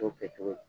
To kɛcogo ye